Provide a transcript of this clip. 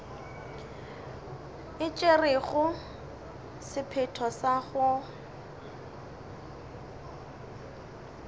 e tšerego sephetho sa go